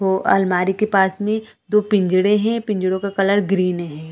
वो अलमारी के पास में दो पिंजरे है पिंजरो का कलर ग्रीन है।